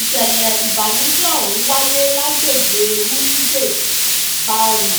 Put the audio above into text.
ìṣẹ̀lẹ̀ ìbànújẹ́ ọ̀hún wáyé lágbègbè rumde-bárù